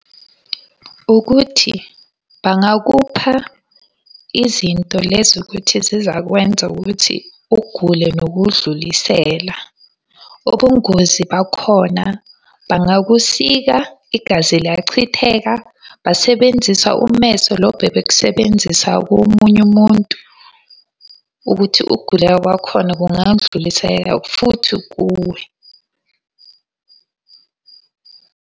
Ukuthi bangakupha izinto lezi ukuthi zizakwenza ukuthi ugule nokudlulisela. Ubungozi bakhona, bangakusika, igazi liyachitheka basebenzisa ummese lo bebekusebenzisa komunye umuntu. Ukuthi ukugula kwakhona kungandlulisela futhi kuwe.